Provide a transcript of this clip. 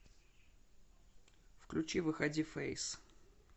включи выходи фэйс